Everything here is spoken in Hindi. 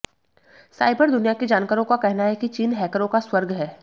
साइबर दुनिया के जानकारों का कहना है कि चीन हैकरों का स्वर्ग है